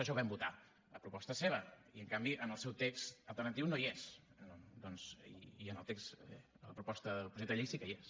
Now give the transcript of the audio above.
això ho vam votar a proposta seva i en canvi en el seu text alternatiu no hi és doncs i en el text de la proposta de llei sí que hi és